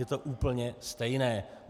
Je to úplně stejné.